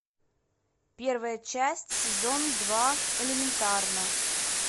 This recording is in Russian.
первая часть сезон два элементарно